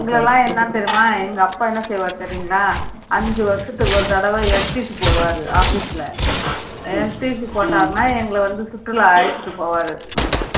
எங்களை எல்லாம் என்ன தெரியுமா எங்க அப்பா என்ன செய்வாரு தெரியுங்களா அஞ்சு வருஷத்துக்கு ஒரு தடவை போடுவாரு office ல போட்டாருன்னா எங்களை வந்து சுற்றுலா அழைச்சிட்டு போவாரு